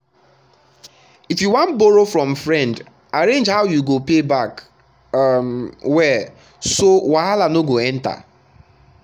if you wan borrow from friend arrange how you go pay back um well so wahala no go enter.